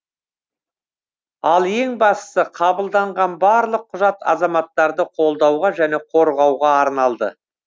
ал ең бастысы қабылданған барлық құжат азаматтарды қолдауға және қорғауға арналды